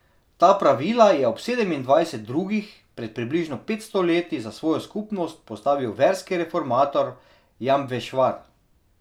Ta pravila je ob sedemindvajset drugih pred približno petsto leti za svojo skupnost postavil verski reformator Jambešvar.